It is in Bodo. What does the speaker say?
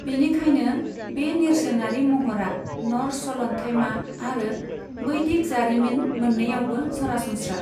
बेनिखायनो बे नेरसोनारि महरा न'र्स सलन्थाइमा आरो बैदिक जारिमिन मोननैयावबो सरासनस्रा।